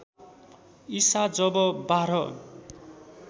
ईसा जब बाह्र